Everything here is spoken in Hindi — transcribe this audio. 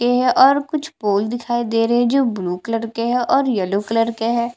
के है और कुछ पोल दिखाई दे रहे है जो ब्लू कलर के है और येल्लो कलर के है।